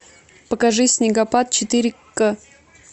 покажи снегопад четыре к